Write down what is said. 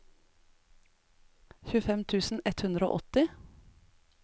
tjuefem tusen ett hundre og åtti